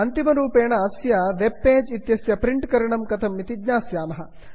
अन्तिमरूपेण अस्य web page इत्यस्य print करणं कथम् इति ज्ञास्यामः